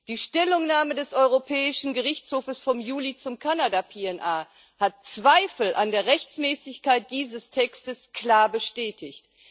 Die Stellungnahme des Europäischen Gerichtshofs vom Juli zum Kanada PNA hat Zweifel an der Rechtmäßigkeit dieses Textes klar bestätigt.